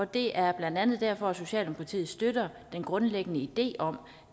det er blandt andet derfor socialdemokratiet støtter den grundlæggende idé om